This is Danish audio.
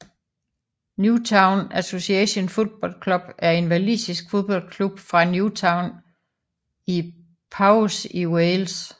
Newtown Association Football Club er en walisisk fodboldklub fra Newtown i Powys i Wales